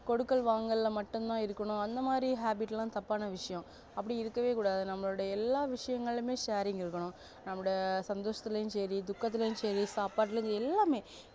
கொடுக்கல் வாங்கல்ல மட்டும் இருக்கணும் அந்த மாதிரி habit லாம் தப்பான விஷயம் அப்டி இருக்கவே கூடாது நம்மளோட எல்லா விஷயங்களுமே sharing இருக்கணும் நம்மளோட சந்தோசத்திலையும் செரி துக்கத்துலயும் செரி சாப்பாட்டுலயும் செரி எல்லாமே